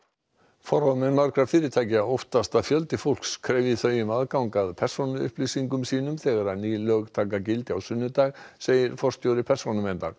forráðamenn margra fyrirtækja óttast að fjöldi fólks krefji þau um aðgang að persónuupplýsingum sínum þegar ný lög taka gildi á sunnudag segir forstjóri Persónuverndar